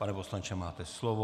Pan poslanče, máte slovo.